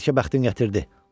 Bəlkə bəxtin gətirdi.